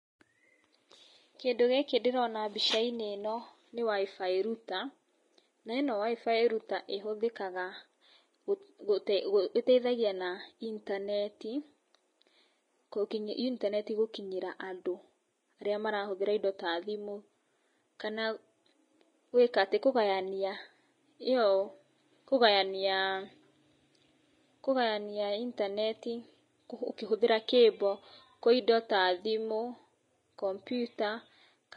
Kĩndũ gĩkĩ ndĩrona mbica-inĩ ĩno nĩ WIFI router na ĩno WIFI router ĩhũthĩkaga ĩteithagia na intaneti, intaneti gũkinyĩra andũ arĩa marahũthĩra indo ta thimũ kana gwĩka atĩ, kũgayania ĩyo, kũgayania intaneti ũkĩhũthĩra cable kũrĩ indo ta thimũ, komputa.